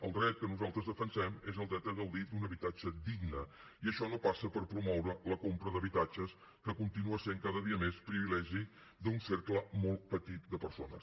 el dret que nosaltres defensem és el dret a gaudir d’un habitatge digne i això no passa per promoure la compra d’habitatges que continua sent cada dia més privilegi d’un cercle molt petit de persones